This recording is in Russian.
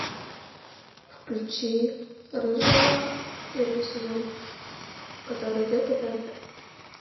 включи рыжего первый сезон который идет по тнт